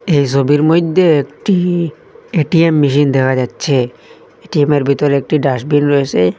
এই ছবির মধ্যে একটি এ_টি_এম মেশিন দেখা যাচ্ছে এটিএমের ভিতরে একটি ডাস্টবিন রয়েসে।